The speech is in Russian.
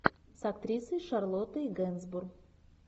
с актрисой шарлоттой генсбур